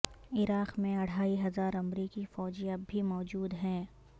عراق میں اڑھائی ہزار امریکی فوجی اب بھی موجود ہیں